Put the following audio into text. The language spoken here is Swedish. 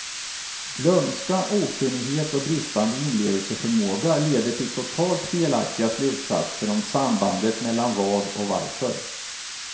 Glömska, okunnighet och bristande inlevelseförmåga leder till totalt felaktiga slutsatser om sambandet mellan vad och varför.